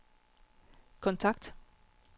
kontakt